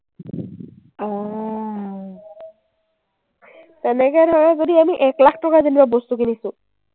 তেনেকে ধৰক যদি আমি এক লাখ টকাৰ যেনিবা বস্তু কিনিছো,